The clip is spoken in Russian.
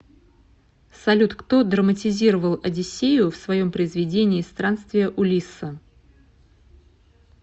салют кто драматизировал одиссею в своем произведении странствия улисса